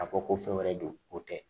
K'a fɔ ko fɛn wɛrɛ don o tɛ